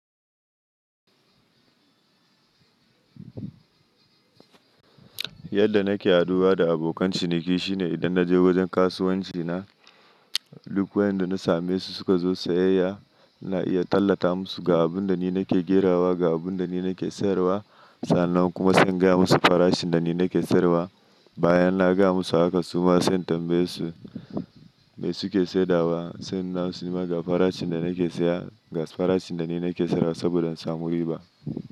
Yadda nake haduwa da abokan ciniki shine idan naje wajen kasuwanci na, duk wayanda na same su suka zo sayayya na iya tallata musu ga abun da ni nake gerawa, ga abun da ni nake sayarwa. Sannan kuma zan gaya musu farashin da ni nake sayarwa. Bayan na gaya musu haka suma zan tambaye su, me suke saidawa, sannan su nema ga farashin da ni nake saya, ga farashin da ni nake sayarwa saboda in samu riba.